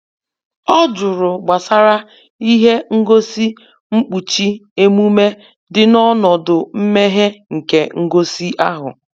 ọ jụrụ gbasara ihe ngosi nkpuchi emume dị n'ọnọdụ mmeghe nke ngosi ahụ